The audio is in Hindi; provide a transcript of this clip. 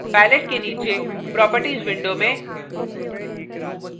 palette के नीचे properties window में